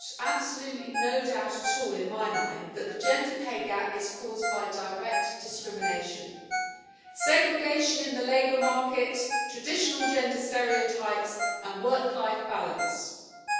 absolutely no doubt at all in my mind that the gender pay gap is caused by direct discrimination segregation in the labour market, traditional gender stereotypes and work life balance issues.